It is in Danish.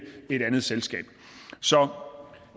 et andet selskab